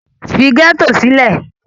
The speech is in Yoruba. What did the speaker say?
Leave the ghetto! ì